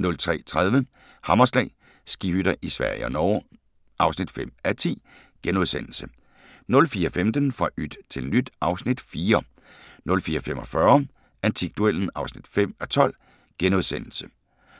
03:30: Hammerslag - skihytter i Sverige og Norge (5:10)* 04:15: Fra yt til nyt (Afs. 4) 04:45: Antikduellen (5:12)*